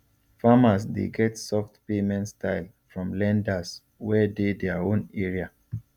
farmers dey get soft payment style from lenders wey dey their own area